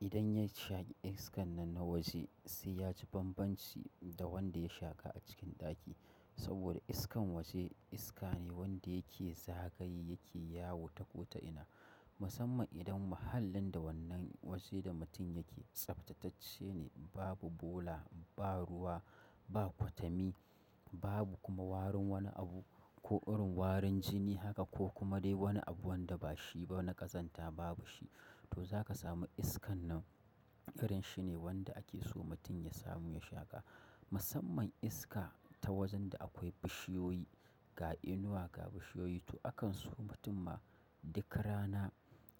idan ya shaki iskan nan na waje, sai ya ji banbanci da wanda ya shaƙa a cikin ɗaki. Saboda iskan waje iska ne wanda yake zagaye yake yawo ta kota'ina. Musamman idan mahallin da wannan waje da mutum yake tsaftatacce ne, babu bola, ba ruwa, ba kwatami, babu kuma warin wani abu ko irin warin jini haka ko kuma dai wani abu wanda ba shi ba na ƙazanta babu shi, to za ka sami iskan nan. Irin shi ne wanda ake so mutum ya samu ya shaƙa. Musamman iska ta wajen da akwai bishiyoyi, ga inuwa, ga bishiyoyi. To akan so mutum ma duka rana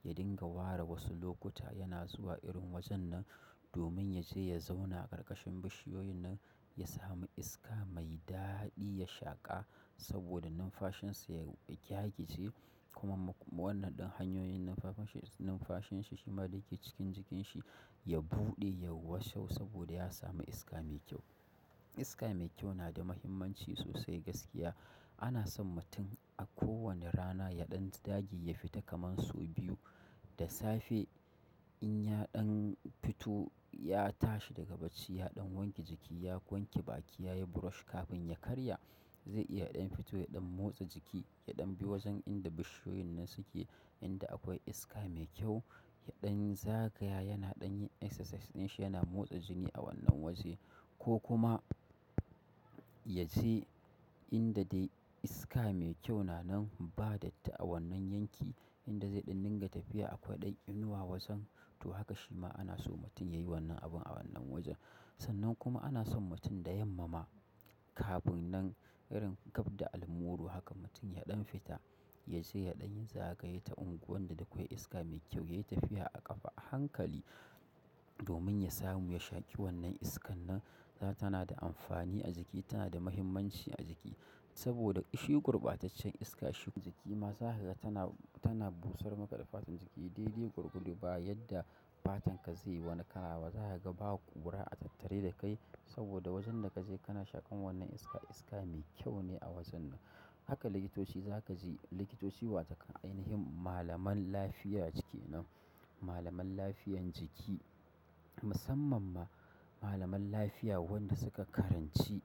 ya dinga wara wasu lokuta yana zuwa irin wajen nan domin ya je ya zauna a ƙarƙashin bishiyoyin nan ya sami iska mai daɗi ya shaƙa saboda numfashin sa ya, ya gyagije kuma wannan ɗin hanyoyin numfashin, numfashin shi ma da yake cikin jikin shi ya buɗe, ya washe saboda ya sami iska mai kyau. Iska mai kyau na da muhimmanci sosai gaskiya. Ana son mutum a kowane rana ya ɗan dage ya fita kaman sau biyu da safe. In ya ɗan fito ya tashi daga bacci, ya ɗan wanke jiki, ya wanke baki, ya yi brush kafin ya karya, zai iya ya ɗan fito ya ɗan motsa jiki, ya ɗan bi wajen inda bishiyoyin nan suke inda akwai iska mai kyau. Ya ɗan zagaya, yana ɗan yin exercise, din shi yana motsa jini a wannan waje ko kuma ya je inda dai iska mai kyau na nan ba datti a wannan yanki, inda zai ɗan dinga tafiya a kwai ɗan inuwa wajen. To haka shima ana so mutum yayi wannan abun a wannan wajen. Sannan kuma ana son mutum da yamma ma kafin nan, irin gab da almuru haka mutum ya ɗan fita. Ya je ya ɗan yi zagaye ta unguwan da akwai iska mai kyau, ya yi tafiya a ƙafa a hankali domin ya samu ya shaƙi wannan iskan nan. Dan tana da amfani a jiki, tana da muhimmanci a jiki saboda shi gurbataccen iska shi jiki ma za kaga tana, tana busar maka da fatan jiki. Daidai gwargwado ba, yadda fatan ka zai wani kala ba, za ka ga ba ƙura a tattare da kai saboda wajen da ka je kana shaƙan wannan iska, iska mai kyau ne a wajen nan. Haka likitoci za ka ji, likitoci wataƙan ainihin malaman lafiya cike nan, malaman lafiyar jiki. Musamman ma malaman lafiya wanda suka karanci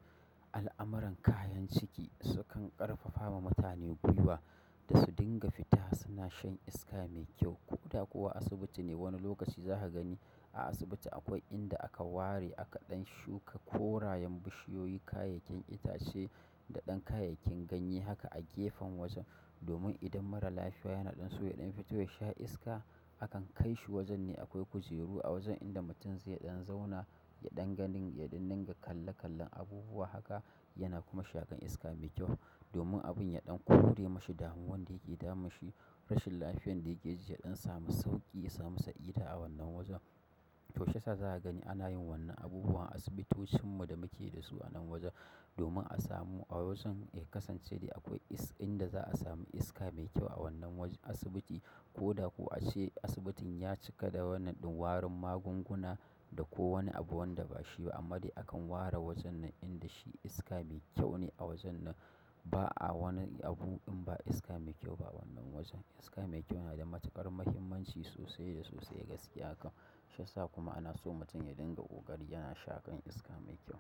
al'amuran kayan ciki sukan ƙarfafa ma mutane gwiwa da su dinga fita suna shan iska mai kyau. Ko da kuwa asibiti ne, wani lokaci za ka gani a asibiti akwai inda aka ware aka ɗan shuka korayen bishiyoyi, kayayyakin itace da ɗan kayayyakin ganye haka a gefen wajen. Domin idan mara lafiya yana ɗan so ya ɗan fito ya sha iska, akan kai shi wajen ne akwai kujeru a wajen inda mutum zai ɗan zauna, ya ɗan gani, ya ɗan dinga kalle kallon abubuwa haka yana kuma shaƙan iska mai kyau. Domin abun ya dan kore ma shi damuwan da yake damun shi rashin lafiyan da yake ji ya dan samu sauƙi ya dan samu sa'ida a wannan wajan to shi yasa za ka gani ana yin wannan abubuwa a asibitocin mu da muke da su a nan wajen domin a samu a wajen, eh ya kasance dai akwai is, inda za a samu iska mai kyau a wannan wajen asibiti. Ko da ko ace asibitin ya cika da wannan din warin magunguna da ko wani abu wanda ba shi ba amma dai akan ware wajan nan inda shi iska mai kyau ne a wajan nan. Ba'a wani abu in ba iska mai kyau ba a wannan wajen. Iska mai kyau yana da matukar mahimmamci sosai da sosai gaskiya kam. Shi yasa kuma ana so mutum ya dinga ƙoƙari yana shaƙan iska mai kyau.